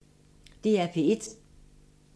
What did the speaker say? DR P1